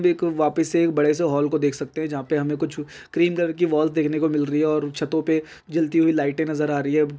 एक वापिस से एक बड़े से हॉल को देख सकते है जहा पे हमें कुछ क्रीम कलर की वाल देखने को मिल रही है और छतो पे जलती हुई लाइटे नज़र आ रही है।